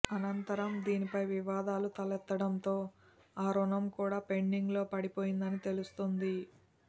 అనంతరం దీనిపై వివాదాలు తెలెత్తడంతో ఆ రుణం కూడా పెండింగ్లో పడిపోయిందని తెలుస్తోంది